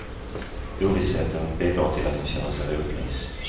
Ovissheten bidrar till att han känner sig rotlös.